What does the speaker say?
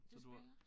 Du spiller